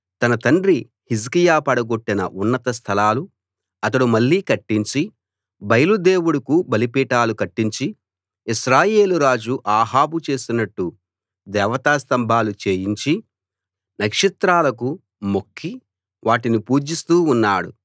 తన తండ్రి హిజ్కియా పడగొట్టిన ఉన్నత స్థలాలు అతడు మళ్ళీ కట్టించి బయలు దేవుడుకు బలిపీఠాలు కట్టించి ఇశ్రాయేలురాజు అహాబు చేసినట్టు దేవతాస్తంభాలు చేయించి నక్షత్రాలకు మొక్కి వాటిని పూజిస్తూ ఉన్నాడు